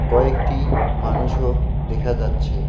কয়েকটি মানুষও দেখা যাচ্ছে।